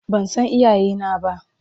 Ban san iyayena ba.